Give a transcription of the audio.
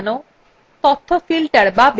column অনুসারে সাজানো